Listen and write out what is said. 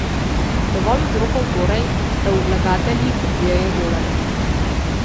Dovolj vzrokov torej, da vlagatelji kupujejo dolarje.